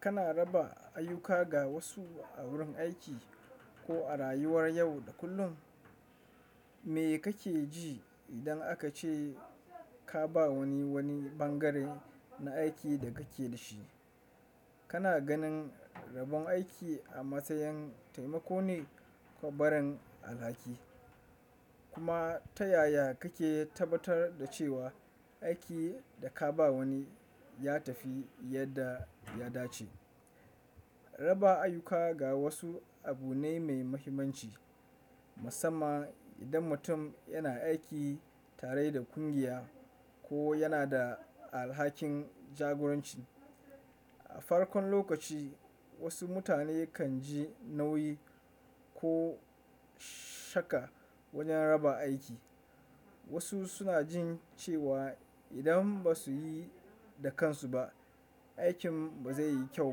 Kana raba ayyuka ga wasu a wurin aiki ko a rayuwar yau da kullum? Me kake ji idan aka ce ka ba wani wani bangare na aikin da kake da shi? Kana ganin rabon aiki a matsayin taimako ne ko barin alhaki, kuma ta yaya kake tabbatar da cewa aikin da ka ba wani ya tafi yadda ya dace? Raba ayyuka ga wasu abu ne mai mahimmanci, musamman idan mutum yana aiki tare da ƙungiya ko yana da alhakin jagoranci. A farkon lokaci, wasu mutane kan ji nauyi ko shakka wajen raba aiki. Wasu suna jin cewa idan ba su yi da kansu ba, aikin ba zai yi kyau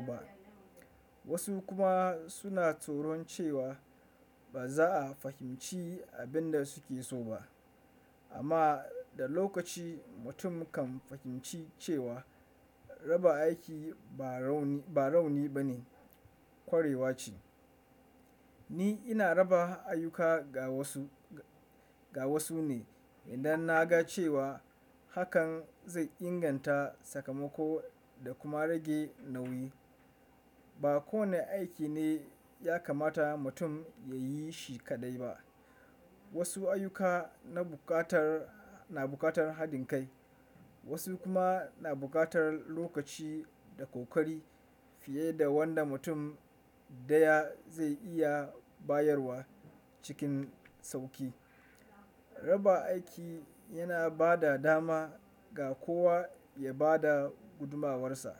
ba. Wasu kuma suna tsoron cewa ba za a fahimci abin da suke so ba. Amma da lokaci, mutum kan fahimci cewa raba aiki ba rauni bane, ƙwarewa ce. Ni ina raba ayyuka ga wasu ga wasu ne idan na ga cewa hakan zai inganta sakamako da kuma rage nauyi. Ba kowane aiki ne ya kamata mutum ya yi shi kaɗai ba. Wasu ayyuka na buƙatar haɗin kai, wasu kuma na buƙatar lokaci da kokari fiye da wanda mutum ɗaya zai iya bayarwa cikin sauƙi. Raba aiki yana ba da dama ga kowa ya ba da gudumuwarsa.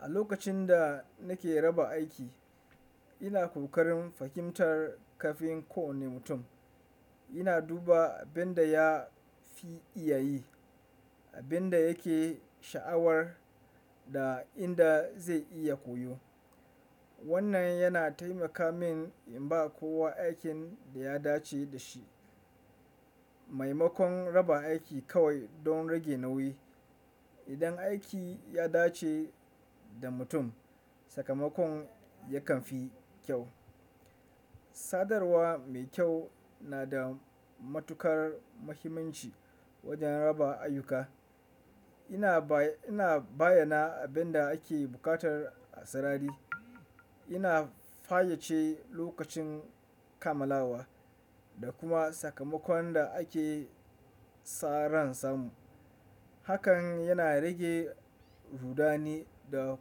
A lokacin da nake raba aiki, ina kokarin fahimtar ƙafin kowane mutum. Ina duba abin da ya fi iya yi, abin da yake sha'awar, da inda zai iya koyo. Wannan yana taimaka min in ba kowa aikin da ya dace da shi. Maimakon raba aiki kawai don rage nauyi, idan aiki ya dace da mutum, sakamakon yakan fi kyau. Sadarwa mai kyau na da matukar mahimmanci wajen raba ayyuka. Ina bayyana abin da ake buƙatar a sarari, ina fayyace lokacin kammalawa, da kuma sakamakon da ake sa ran samu. Hakan yana rage rudani da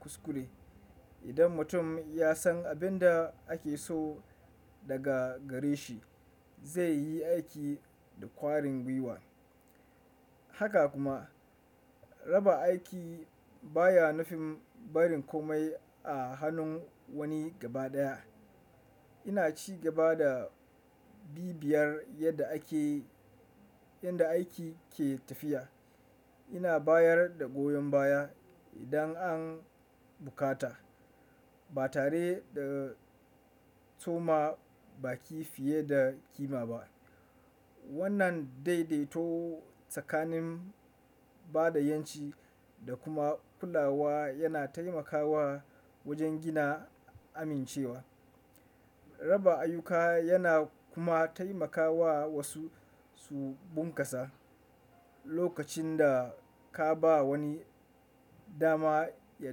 kuskure. Idan mutum ya san abin da ake so daga gare shi, zai yi aiki da ƙwarin gwiwa. Haka kuma, raba aiki baya nufin barin komai a hannun wani gaba ɗaya. Ina ci gaba da bibiyar yadda aikin ke tafiya. Ina bayar da goyon baya idan an buƙata, ba tare da tsoma baki fiye da kima ba. Wannan daidaito tsakanin bada yanci da kuma kulawa yana taimakawa wajen gina amincewa. Raba ayyuka yana kuma taimakawa wasu su bunkasa. Lokacin da ka ba wani dama ya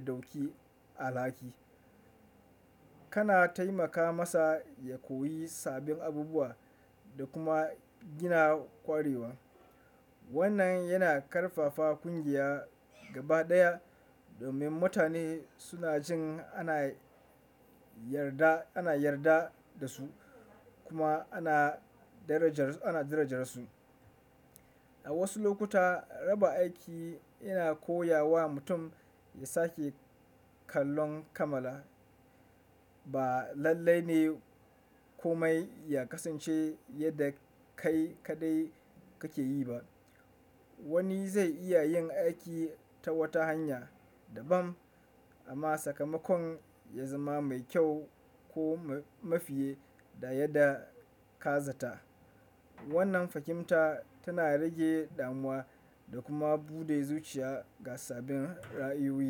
ɗauki alhaki, kana taimaka masa ya koyi sabbin abubuwa da kuma gina ƙwarewa. Wannan yana ƙarfafa ƙungiya gaba ɗaya, domin mutane suna jin ana yarda da su kuma ana darajar su. A wasu lokuta, raba aiki yana koya wa mutum ya sake kallon kamala. Ba lallai ne komai ya kasance yadda kai kaɗai kake yi ba. Wani zai iya yin aiki ta wata hanya daban amma sakamakon ya zama mai kyau ko mafi yadda yadda ka zata. Wannan fahimta tana rage damuwa da kuma buɗe zuciya ga sabbin ra'ayoyi.